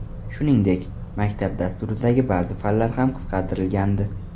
Shuningdek, maktab dasturidagi ba’zi fanlar ham qisqartirilgandi.